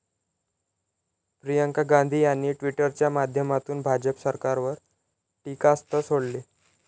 प्रियंका गांधी यांनी ट्विटच्या माध्यमातून भाजप सरकारवर टीकास्त्र सोडले.